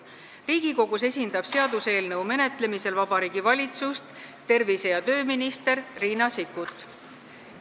Riigikogus esindab seaduseelnõu menetlemisel Vabariigi Valitsust tervise- ja tööminister Riina Sikkut.